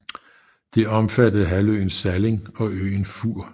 Det omfattede halvøen Salling og øen Fur